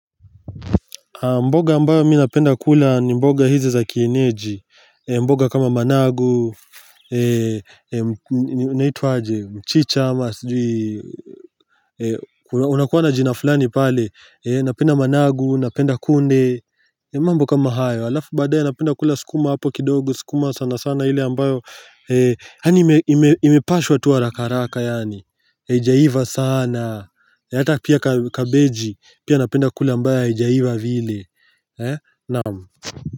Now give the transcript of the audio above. Mboga ambayo mi napenda kula ni mboga hizi za kienyeji mboga kama managu Unaitwaje mchicha ama unakuwa na jina fulani pale Napenda managu, napenda kunde mambo kama hayo Alafu baadae napenda kula sukuma hapo kidogo sukuma sana sana ile ambayo yani imepashwa tu harakaharaka yani Ijaiva sana na ata pia kabeji Pia napenda kula ambayo haijaiva vile naam.